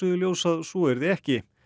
í ljós að svo yrði ekki